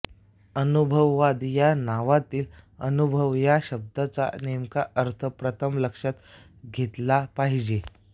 अनुभववाद या नावातील अनुभव या शब्दाचा नेमका अर्थ प्रथम लक्षात घेतला पाहिजे